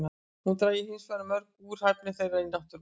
Hún drægi hinsvegar mjög úr hæfni þeirra í náttúrunni.